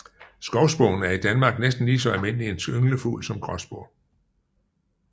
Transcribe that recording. Skovspurven er i Danmark næsten lige så almindelig en ynglefugl som gråspurv